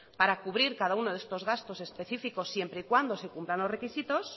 para cubrir cada uno de estos gastos específicos siempre y cuando se cumplan los requisitos